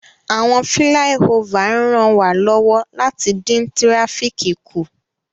Awọn filaiofa n ranwalọwọ lati din tirafíki ku